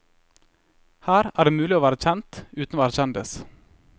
Her er det mulig å være kjent uten å være kjendis.